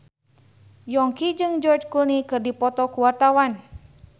Yongki jeung George Clooney keur dipoto ku wartawan